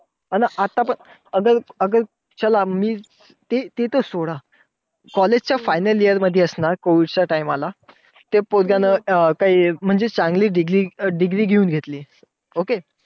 अन आता पण चला ते तर सोडा. College च्या final year मध्ये असणार, COVID च्या time ला. ते पोरग्यानं काही चांगली degree घेऊन घेतली. okay